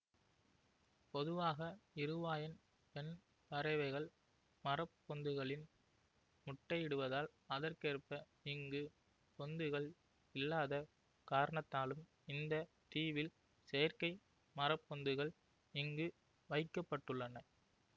பொதுவாக இருவாயன் பெண் பறவைகள் மரப்பொந்துகளில் முட்டையிடுவதால் அதற்கேற்ப இங்கு பொந்துகள் இல்லாத காரணத்தாலும் இந்த தீவில் செயற்கை மரப்பொந்துகள் இங்கு வைக்க பட்டுள்ளன